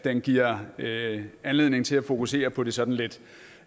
giver anledning til at fokusere på de sådan lidt